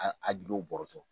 A gindo bɔrɔtɔ